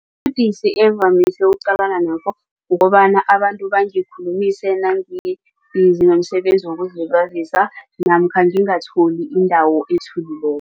Ubudisi engivamise ukuqalana nabo kukobana abantu bangikhulumise nangibhizi nomsebenzi wokuzilibazisa namkha ngingatholi indawo ethulileko.